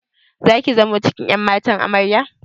Zaki zamo cikin ƴan matan Amarya?